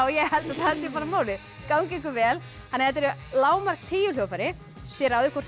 ég held að það sé bara málið gangi ykkur vel þetta eru lágmark tíu hljóðfæri þið ráðið hvort